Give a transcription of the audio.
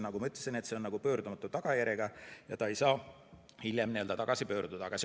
Nagu ma ütlesin, see on pöördumatu tagajärjega ja ta ei saa hiljem tagasi pöörduda.